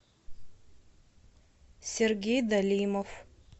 сергей далимов